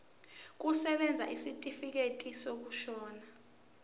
kusebenza isitifikedi sokushona